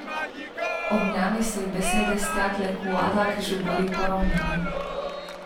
Ob njem so ji besede stekle kot voda, ki žubori po ravnini.